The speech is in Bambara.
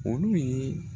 Olu ye